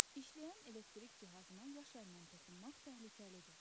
İşləyən elektrik cihazına yaş əllə toxunmaq təhlükəlidir.